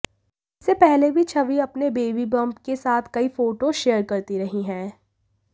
इससे पहले भी छवि अपने बेबी बंप के साथ कई फोटोज शेयर करती रही हैं